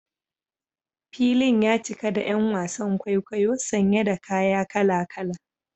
Filin ya cika da ’yan wasan kwaikwayo sanye da kaya kala-kala.